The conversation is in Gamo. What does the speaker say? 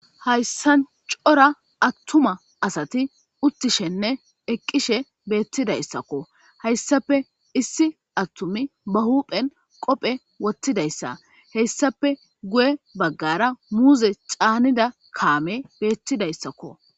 Hayisani cora atuma asati utidashenne eqishshe betidayisakko hayissappe issi atumi ba hupheni qoppe woththidayisa hesappe guye bagara muze chanida kameyi betidayisakko